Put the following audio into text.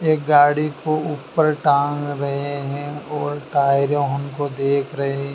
एक गाड़ी को ऊपर टांग रहे हैं और टायरों उनको देख रहे--